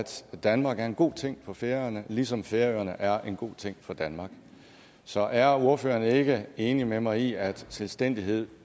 danmark er en god ting for færøerne ligesom færøerne er en god ting for danmark så er ordføreren ikke enig med mig i at selvstændighed